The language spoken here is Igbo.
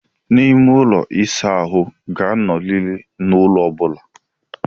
Ime ụlọ ịsa ahụ ga-anọrịrị n'ulo ọ bụla.